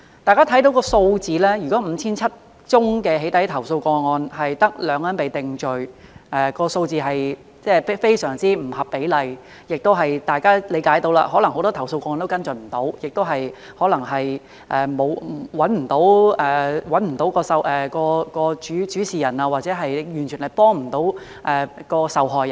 大家看到數字 ，5,700 宗"起底"投訴個案，卻只有2人被定罪，這數字是非常不合比例，大家亦能理解，可能很多投訴個案無法跟進，可能找不到主事人，或完全未能幫助受害人。